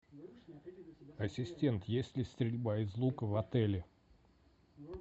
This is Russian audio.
ассистент есть ли стрельба из лука в отеле